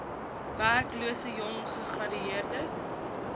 werklose jong gegradueerdes